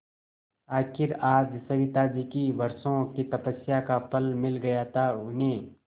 आखिर आज सविताजी की वर्षों की तपस्या का फल मिल गया था उन्हें